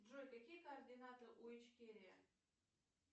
джой какие координаты у ичкерия